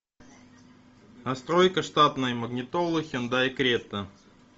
настройка штатной магнитолы хендай крета